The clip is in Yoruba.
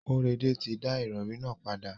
Kóredé ti da ìrọrí nà padà.